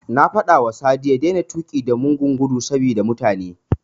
Na faɗawa Sadi ya daina tuƙi da mugun gudu saboda mutane.